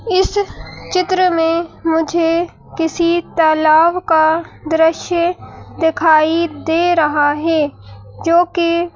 इस चित्र में मुझे किसी तालाब का दृश्य दिखाई दे रहा है जो कि--